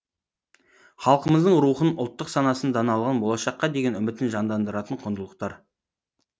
халқымыздың рухын ұлттық санасын даналығын болашаққа деген үмітін жандандыратын құндылықтар